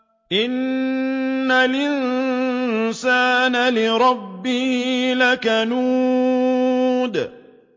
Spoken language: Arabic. إِنَّ الْإِنسَانَ لِرَبِّهِ لَكَنُودٌ